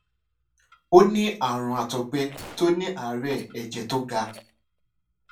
ó ní àrùn àtògbẹ tó ní ààrè ẹjẹ tó ga